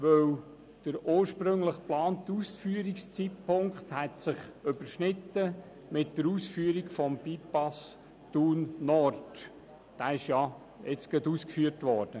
Denn der ursprünglich geplante Ausführungszeitpunkt hätte sich mit der Ausführung des Bypass Thun Nord überschnitten, der bekanntlich gerade kürzlich ausgeführt wurde.